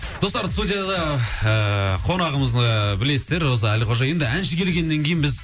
достар студияда ыыы қонағымыз ыыы білесіздер роза әлқожа енді әнші келгеннен кейін біз